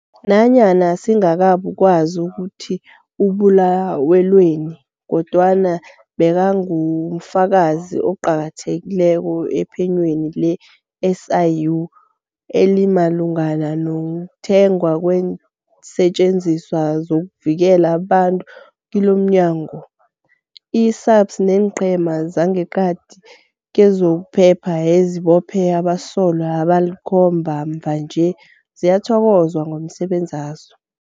Nanyana singakabukwazi ukuthi ubulawelweni, kodwana bekangufakazi oqakathekileko ephenyweni le-SIU elimalungana nokuthengwa kweensetjenziswa zokuvikela abantu kilomnya ngo. I-SAPS neenqhema zangeqadi kezokuphepha ezibophe abasolwa abalikhomba mvanje ziyathokozwa ngomsebenzazo.